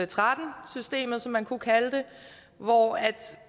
tretten systemet som man kunne kalde det hvor